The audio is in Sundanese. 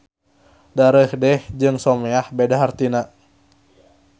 Darehdeh jeung someah beda hartina